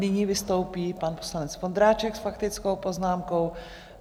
Nyní vystoupí pan poslanec Vondráček s faktickou poznámkou.